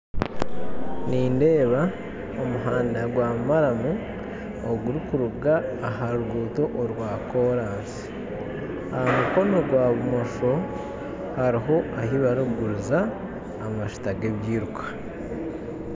Nindeeba omuhanda gwa maramu ogurikuruga aha ruguto orwa korasi. aha mukono gwabumosho, hariho aha barikuguriza amajuta ga ebiiruka